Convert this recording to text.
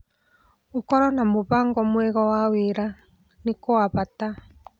Gũkorwo na mũbango mwega wa wĩra n i gwa bata.